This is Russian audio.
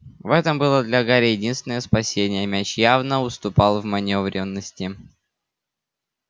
в этом было для гарри единственное спасение мяч явно уступал в манёвренности